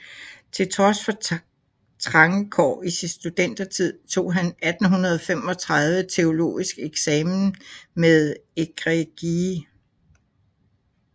Til trods for trange kår i sin studentertid tog han 1835 teologisk eksamen med egregie